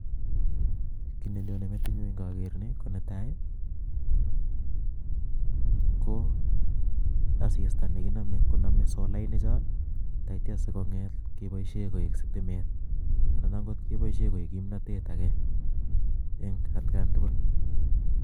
kii nenyonee metinyuu ko nga ger nii, ko netai koo asistaa neginamee konamee solanik choo taityaa sigebaishee koek sitimet ana ango kebaishe koech kimnatet agee eng atkaen tugul